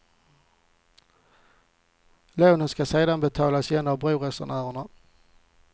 Lånen ska sedan betalas igen av broresenärerna.